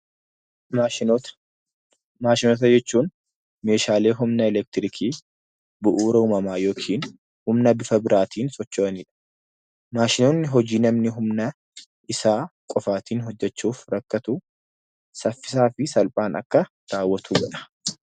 Maashinoota, maashinoota jechuun meeshaalee humna elektirikii , bu'uura uumamaa yookin humna bifa biraatiin socho'anidha. Maashinoonni hojii namni humna isaa qofaatiin hojjechuuf rakkatu saffisaa fi salphaan akka raawwatu godha.